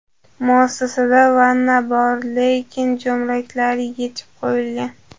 Muassasada vanna bor, lekin jo‘mraklari yechib qo‘yilgan.